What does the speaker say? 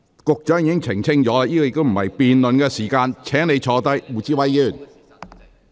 局長已作澄清，現在亦不是辯論時間，請你坐下。